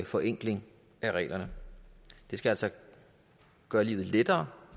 forenkling af reglerne det skal altså gøre livet lettere